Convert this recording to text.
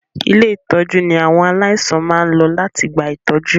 Ilé-ìtọ́jú ní àwọn aláìsàn máa ń lọ láti gba ìtọ́jú.